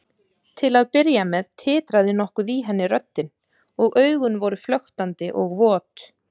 Til að byrja með titraði nokkuð í henni röddin og augun voru flöktandi og vot.